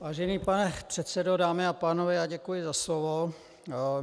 Vážený pane předsedo, dámy a pánové, já děkuji za slovo.